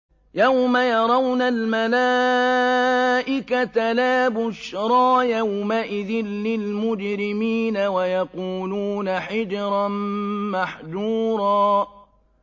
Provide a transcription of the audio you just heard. يَوْمَ يَرَوْنَ الْمَلَائِكَةَ لَا بُشْرَىٰ يَوْمَئِذٍ لِّلْمُجْرِمِينَ وَيَقُولُونَ حِجْرًا مَّحْجُورًا